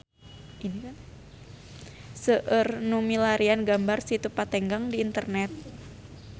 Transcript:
Seueur nu milarian gambar Situ Patenggang di internet